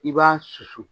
I b'a susu